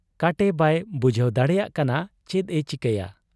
ᱠᱟᱴᱮ ᱵᱟᱭ ᱵᱩᱡᱷᱟᱹᱣ ᱫᱟᱲᱮᱭᱟᱜ ᱠᱟᱱᱟ ᱪᱮᱫ ᱮ ᱪᱤᱠᱟᱹᱭᱟ ᱾